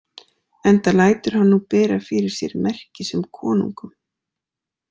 Enda lætur hann nú bera fyrir sér merki sem konungum.